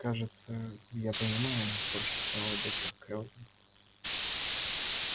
кажется я понимаю прошептала доктор кэлвин